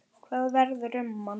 Hvað verður um hann?